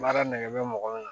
Baara nɛgɛ bɛ mɔgɔ min na